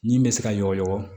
Ni bɛ se ka yɔgɔ